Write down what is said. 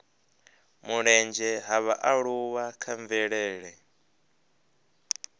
mulenzhe ha vhaaluwa kha mvelele